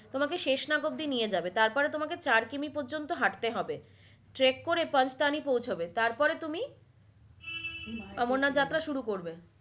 তোমাকে শেষনাগ অব্দি নিয়ে যাবে তারপরে তোমাকে চার কিমি পর্যন্ত হাটতে হবে trek করে পাঁচতানি পৌঁছাবে তারপরে তুমি অমরনাথ যাত্ৰা শুরু করবে।